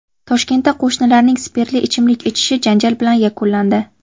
Toshkentda qo‘shnilarning spirtli ichimlik ichishi janjal bilan yakunlandi.